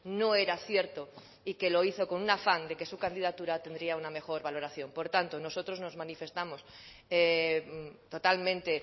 no era cierto y que lo hizo con un afán de que su candidatura tendría una mejor valoración por tanto nosotros nos manifestamos totalmente